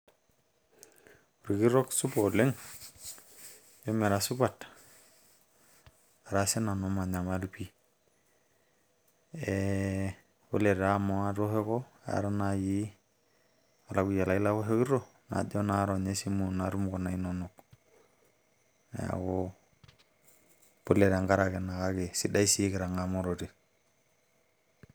Orkitok supa oleng emira supat ara sii nanu manyamal pii ee pole taa amu aatoshoko aata naaji olakuyia lai laoshokito najo naa ronya esimu natum kuna inonok neeku pole tenkaraki ina kake sidai sii kitang'amarote.